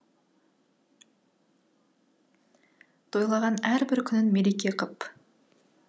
тойлаған әрбір күнін мереке қып